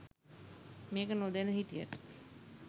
මේක නොදැන හිටියට